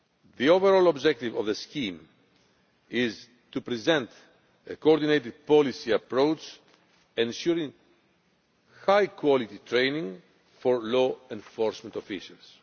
The overall objective of the scheme is to present a coordinated policy approach ensuring high quality training for law enforcement officials.